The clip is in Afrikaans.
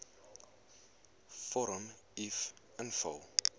vorm uf invul